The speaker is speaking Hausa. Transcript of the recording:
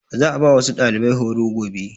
Za a ba wasu ɗalibai horo gobe.